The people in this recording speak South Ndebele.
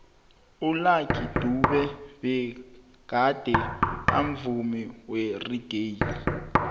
ulucky dube begade amvumi weraggae